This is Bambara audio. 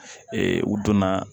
u donna